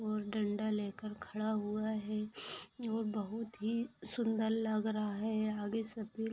और डंडा लेकर खड़ा हुआ है और बहुत ही सुन्दर लग रहा है आगे सफ़ेद --